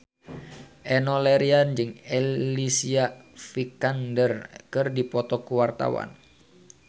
Enno Lerian jeung Alicia Vikander keur dipoto ku wartawan